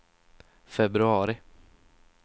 februari